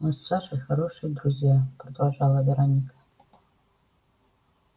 мы с сашей хорошие друзья продолжала вероника